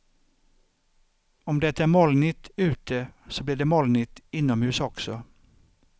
Om det är molnigt ute så blir det molnigt inomhus också.